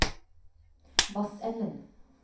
Vassenden